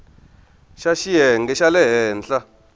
ya xiyenge xa le henhla